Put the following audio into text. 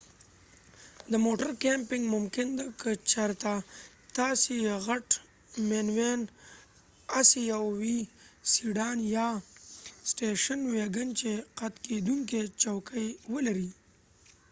د موټر کېمپنګ ممکن ده که چېرته تاسی یو غټ منیوېن، اسی یو وي، سیډان او یا سټیشن ويګن چې قت کېدونکې چوکۍ ولري